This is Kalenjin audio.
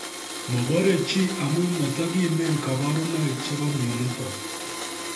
Mobore chii amu motokimen koborunoik chebo myonitok